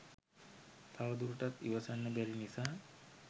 තව දුරටත් ඉවසන්න බැරි නිසා